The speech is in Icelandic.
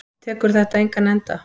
Tekur þetta engan enda?